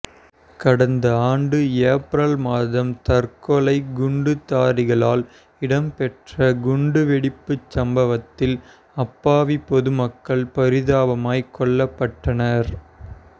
கடந்த ஆண்டு ஏப்ரல் மாதம் தற்கொலை குண்டுதாரிகளால் இடம்பெற்ற குண்டு வெடிப்புச் சம்பவத்தில் அப்பாவி பொதுமக்கள் பரிதாபமாய் கொல்லப்பட்டனர்